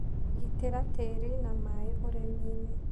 Gitĩra tĩri na maĩ ũrĩmini.